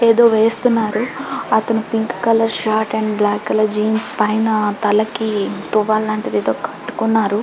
ఎదో వేస్తున్నారు అతను pink colour shirt and black colour jeans పైన తలకి టువాలు లాంటిది ఒకటి కట్టుకున్నారు